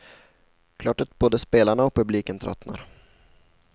Klart att både spelarna och publiken tröttnar.